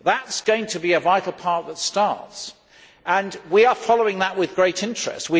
That is going to be a vital part that starts, and we are following that with great interest.